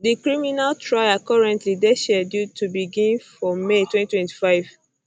di criminal trial currently dey scheduled to begin for may 2025